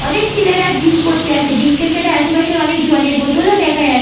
অনেক ছেলেরা জিম করতে আসে। জিম সেন্টার এর আসে পাশে অনেক জলের বোতল দেখা যাচ্--